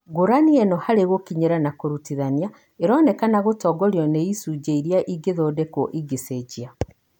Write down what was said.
Ngũrani ĩno harĩ gũkinyĩra na kũrutithania ĩronekana gũtongorio nĩ icunjĩ iria ingĩtindĩkwo ingĩcenjia.